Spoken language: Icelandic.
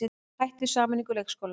Hætt við sameiningu leikskóla